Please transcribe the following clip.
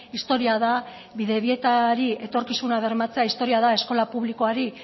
historia da bidebietari etorkizuna bermatzea historia da eskola publikoari